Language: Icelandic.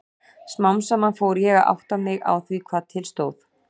Smám saman fór ég að átta mig á því hvað til stóð.